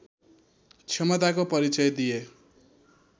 क्षमताको परिचय दिए